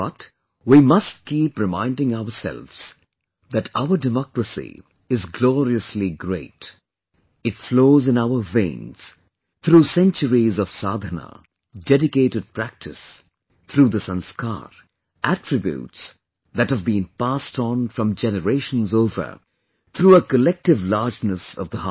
But, we must keep reminding ourselves that our Democracy is gloriously great, it flows in our veins, through centuries of Sadhana, dedicated practice, through the sanskar, attributes that have been passed on from generations over, through a collective largeness of the heart